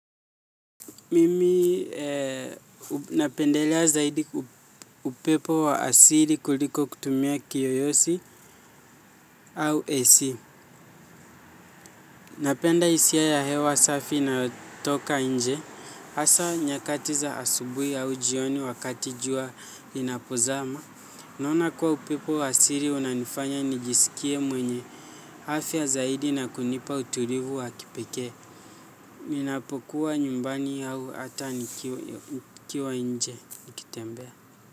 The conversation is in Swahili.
Mimi napendelea zaidi upepo wa asili kuliko kutumia kiyoyozi au ac. Napenda hisia ya hewa safi inayotoka nje. Hasa nyakati za asubuhi au jioni wakati jua linapozama. Naona kuwa upepo asili unanifanya nijisikie mwenye afya zaidi na kunipa utulivu wa kipekee ninapokuwa nyumbani au hata nikiwa nje nikitembea.